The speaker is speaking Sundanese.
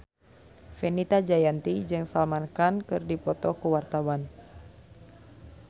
Fenita Jayanti jeung Salman Khan keur dipoto ku wartawan